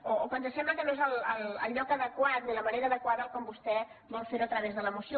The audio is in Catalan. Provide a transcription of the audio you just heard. o que ens sembla que no és el lloc adequat ni la manera adequada com vostè vol fer ho a través de la moció